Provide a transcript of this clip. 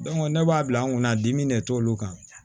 ne b'a bila an kunna dimi de t'olu kan